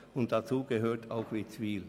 zu diesen gehört auch Witzwil.